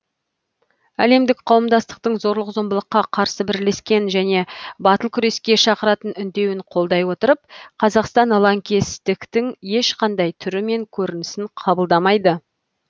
әлемдік қауымдастықтың зорлық зомбылыққа қарсы бірлескен және батыл күреске шақыратын үндеуін қолдай отырып қазақстан лаңкестіктің ешқандай түрі мен көрінісін қабылдамайды